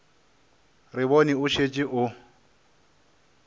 re bone o šetše o